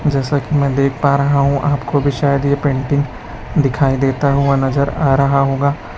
जैसा कि मैं देख पा रहा हूँ कि आपको भी शायद ये पेंटिंग दिखाई देता हुआ नजर आ रहा होगा।